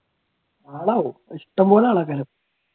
ആളാകും ഇഷ്ടംപോലെ